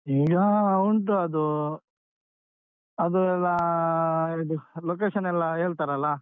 ಈಗ ಉಂಟು ಅದು ಅದು ಎಲ್ಲಾ ಇದು location ಎಲ್ಲ ಹೇಳ್ತಾರಲ್ಲ?